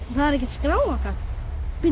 það er ekkert skráargat bíddu